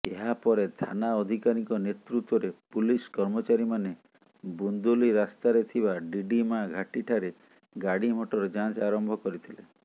ଏହାପରେ ଥାନା ଅଧିକାରୀଙ୍କ ନେତୃତ୍ୱରେ ପୁଲିସ କର୍ମଚାରୀମାନେ ବୁନ୍ଦୁଲି ରାସ୍ତାରେଥିବା ଡିଡିମା ଘାଟିଠାରେ ଗାଡିମଟର ଯାଞ୍ଚ ଆରମ୍ଭ କରିଥିଲେ